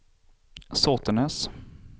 Såtenäs